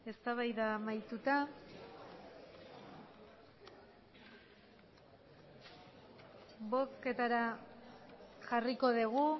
eztabaida amaituta bozketara jarriko dugu